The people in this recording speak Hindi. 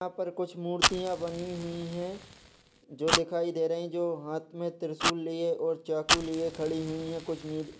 यहाँ पर कुछ मूर्तियां बनी हुई है जो दिखाई दे रही है जो हाथ मे त्रिशूल और चाकू लिए खड़ी हुई है कुछ मूर्ति--